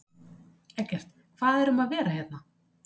Eggert, hvað er um að vera hérna?